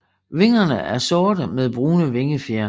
Vingerne er sorte med brune vingefjer